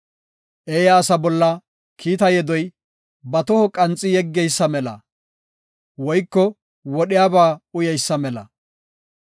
Eeya asa bolla kiita yedoy, ba toho qanxi yeggeysa mela woyko wodhiyaba uyeysa mela.